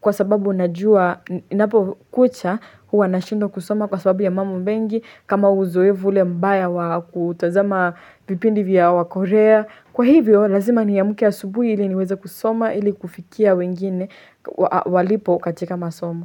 kwa sababu najua inapo kucha huwa na shindwa kusoma kwa sababu ya mambo mengi kama uzoevu ule mbaya wa kutazama vipindi vya wa korea. Kwa hivyo lazima ni amke asubuhi ili niweze kusoma ili kufikia wengine walipo katika masomo.